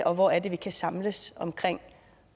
og hvor er det vi kan samles om